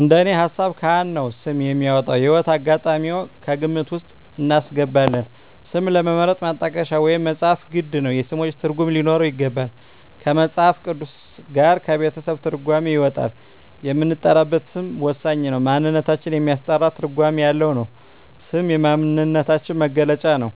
እንደኔ ሀሳብ ካህን ነው ስም የሚያወጣው። የህይወት አጋጣሚም ከግምት ውስጥ እናስገባለን ስምን ለመምረጥ ማጣቀሻ ወይም መፅሀፍት ግድ ነው የስሞችን ትርጉም ሊኖረው ይገባል ከመፅሀፍ ቅዱስ ጋር ከቤተሰብ ትርጓሜ ይወጣል የምንጠራበት ስም ወሳኝ ነው ማንነታችን የሚያስጠራ ትርጓሜ ያለው ነው ስም የማንነታችን መግለጫ ነው